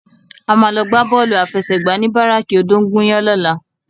A má lò gbá bòlú áfèsègbá ni báráki ódóngúyàn lòlá